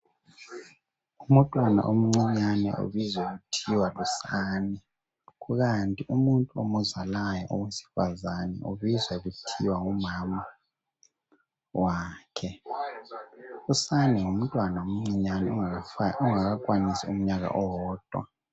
Umntwana omncinyane ubizwa kuthiwa lusane .Kanti umuntu omzalayo owesifazana ubizwa kuthiwa ngumama wakhe . Usane ngumntwana omncinyane ongaka kwanisi umyaka owodwa.